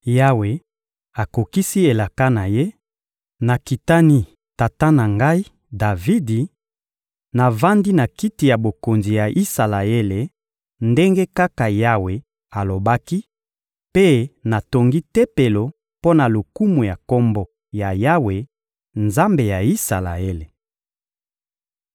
Yawe akokisi elaka na Ye: nakitani tata na ngai, Davidi; navandi na kiti ya bokonzi ya Isalaele, ndenge kaka Yawe alobaki, mpe natongi Tempelo mpo na lokumu ya Kombo ya Yawe, Nzambe ya Isalaele.